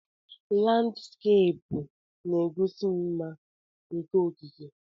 Landskeepụ na-egosi mma nke okike.